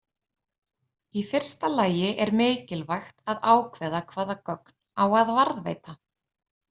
Í fyrsta lagi er mikilvægt að ákveða hvaða gögn á að varðveita.